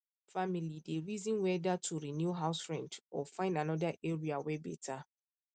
family dey reason whether to renew house rent or find another area wey better